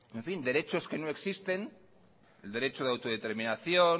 derechos que no existen el derecho a la autodeterminación